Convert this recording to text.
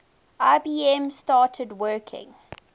ibm started working